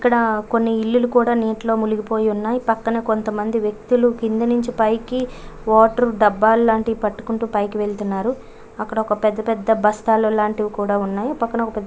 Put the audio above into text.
ఇక్కడ కొన్ని ఇల్లులు కూడా నీటిలో మునిగిపోయి ఉన్నాయ్ పక్కన కొంత మంది వ్యక్తులు కింద నుంచి పైకి వాటర్ డబ్బులాంటివి పట్టుకుంటూ పైకి వెళ్తున్నారు. అక్కడ ఒక పెద్ద పెద్ద బస్తాల్లో లాంటివి కూడా ఉన్నాయ్ పక్కానా ఒక --